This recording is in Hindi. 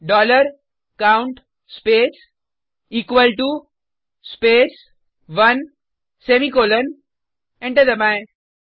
dollar count space equal to space 1 semicolon enter दबाएँ